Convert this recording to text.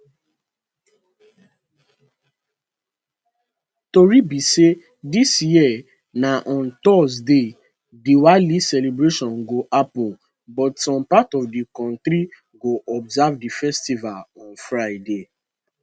tori be say dis year na on thursday diwali celebration go happun but some parts of di kontri go observe di festival on friday